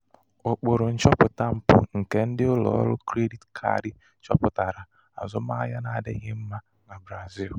ụkpụrụ nchọpụta mpụ nke ndị ụlọ ọrụ krediti kaadi chọpụtara azụmahịa n'adịghị mma na brazil.